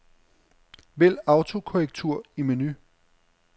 Vælg autokorrektur i menu.